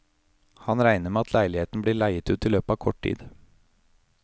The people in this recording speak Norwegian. Han regner med at leiligheten blir leiet ut i løpet av kort tid.